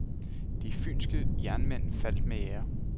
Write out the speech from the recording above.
De fynske jernmænd faldt med ære.